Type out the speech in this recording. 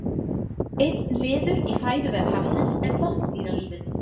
einn liður í fæðuvef hafsins er botndýralífið